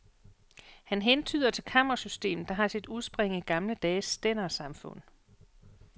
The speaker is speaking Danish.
Han hentyder til kammersystemet, der har sit udspring i gamle dages stændersamfund.